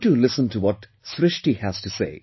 You too listen to what Srishti has to say